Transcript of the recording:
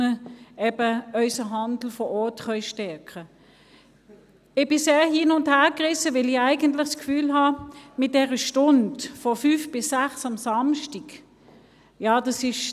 Ich bin sehr hin- und hergerissen, weil ich eigentlich bei dieser Stunde von 17 bis 18 Uhr am Samstag das Gefühl habe: